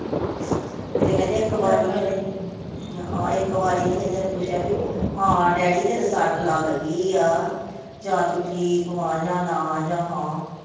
ਕਿਤੇ ਕਹਿੰਦੀ ਇੱਕ ਵਾਰੀ ਇਹਨੇ ਨੀ ਪੁੱਛਿਆ, ਹਾਂ ਇੱਕ ਵਾਰੀ ਨੀ ਕਹਿੰਦੇ ਇਹਨੇ ਪੁੱਛਿਆ ਭੀ ਹਾਂ ਡੈਡੀ ਤੇਰੇ ਸੱਟ ਲੱਗ ਗੀ ਆ ਜਾਂ ਤੂੰ ਠੀਕ ਵਾ ਜਾਂ ਨਾ ਜਾਂ ਹਾਂ।